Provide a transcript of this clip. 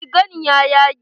Rigan ya yage.